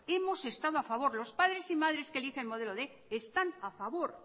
hemos estado a favor los padres y madres que eligen modelo quinientos están a favor